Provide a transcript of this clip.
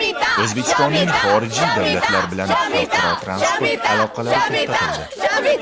O‘zbekistonning xorijiy davlatlar bilan xalqaro transport aloqalari to‘xtatildi .